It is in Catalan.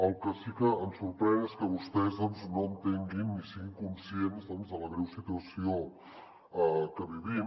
el que sí que em sorprèn és que vostès doncs no entenguin ni siguin conscients de la greu situació que vivim